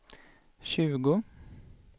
tjugo